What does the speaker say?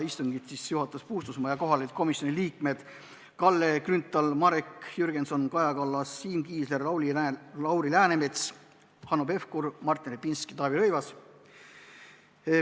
Istungit juhatas Puustusmaa ja kohal olid komisjoni liikmed Kalle Grünthal, Marek Jürgenson, Kaja Kallas, Siim Kiisler, Lauri Läänemets, Hanno Pevkur, Martin Repinski ja Taavi Rõivas.